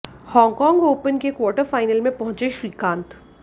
Hong Kong open के quarter final में पहुंचे श्रीकांत